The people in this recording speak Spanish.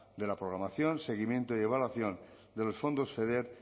de la programación seguimiento y evaluación de los fondos feder